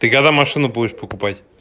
ты когда машину будешь покупать